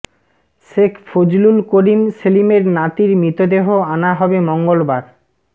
শেখ ফজলুল করিম সেলিমের নাতির মৃতদেহ আনা হবে মঙ্গলবার